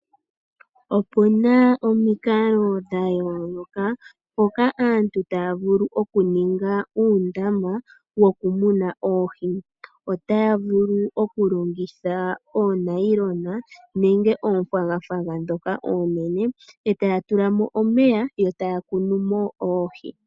Opuna omikalo dha yooloka mpoka aantu taya vulu okuninga uundama wokumuna oohi. Otaya vulu okulongitha oonayilona nenge oofwagafwaga ndhoka oonene etaya tulamo omeya yo taya kunumo oohi.